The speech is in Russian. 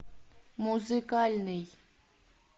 музыкальный